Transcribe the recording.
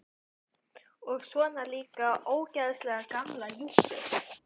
Og svona líka ógeðslega gamla jússu.